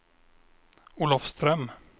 Olofström